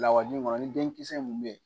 Lawaji in kɔni ni denkisɛ mun bɛ yen